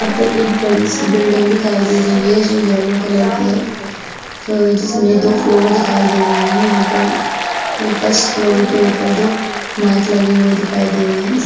यहाँ पर एक बड़ी सी बिल्डिंग दिखाई दे रही है जो येलो कलर की है जिसमें दो फ्लोर दिखाई दे रहे हैं | यहाँ पर फर्स्ट फ्लोर के ऊपर दो माइक लगे हुए दिखाई दे रहे हैं इस --